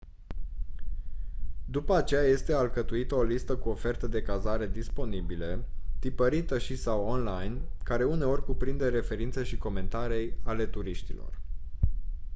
după aceea este alcătuită o listă cu oferte de cazare disponibile tipărită și/sau online care uneori cuprinde referințe și comentarii ale turiștilor